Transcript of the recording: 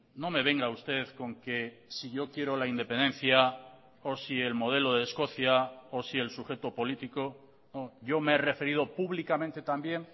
no me venga usted con que si yo quiero la independencia o si el modelo de escocia o si el sujeto político yo me he referido públicamente también